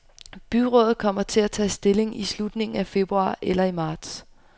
Byrådet kommer til at tage stilling i slutningen af februar eller i marts.